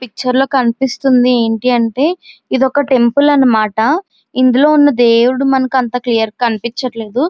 ఈ పిక్చర్ లొకనిపెస్తునది ఏంటి అంటే ఇది ఒక టెంపుల్ అనమాట ఇందులో ఉన్న దేవుడు అంతగా కనిపిచాదము లేదు.